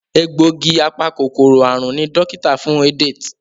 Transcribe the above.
Egbògi apa-kòkòrò àrùn ní dókítà fún Edet.